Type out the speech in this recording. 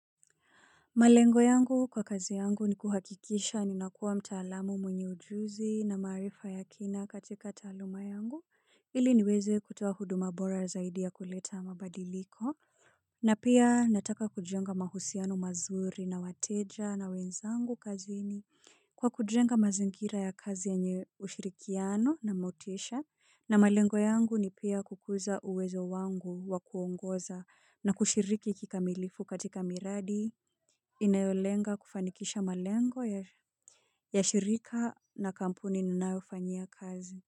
Malengo yangu kwa kazi yangu ni kuhakikisha ninakuwa mtaalamu mwenye ujuzi na marifa ya kina katika taaluma yangu, ili niweze kutoa huduma bora zaidi na kuleta mabadiliko. Na pia nataka kujenga mahusiano mazuri na wateja na wenzangu kazini, kwa kujenga mazingira ya kazi yenye ushirikiano na mafanikio. Na malengo yangu ni pia kukuza uwezo wangu wa kuongoza na kushiriki kikamilifu katika miradi. Inayolenga kufanikisha malengo ya shirika na kampuni ninayofanya kazi.